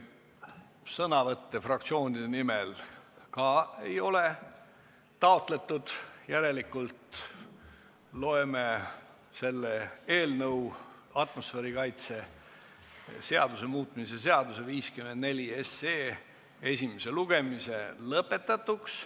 Ka sõnavõtte fraktsioonide nimel ei ole taotletud, järelikult loeme atmosfäärikaitse seaduse muutmise seaduse eelnõu 54 esimese lugemise lõpetatuks.